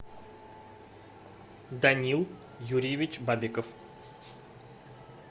данил юрьевич бабиков